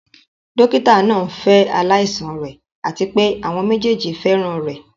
Dókítà náà ń fẹ́ aláìsàn rẹ̀ àti pé àwọn méjèèjì fẹ́ràn rẹ̀.